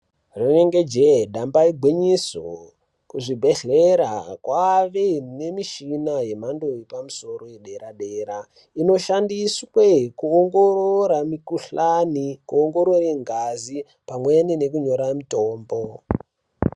Rinenge jee damba igwinyiso kuzvibhehlera kwave nemuchina yemando yepamusoro yedera dera inoshandiswe kuongororora mukuhlani kuongorore ngazi pamweni nekunyora mutombo .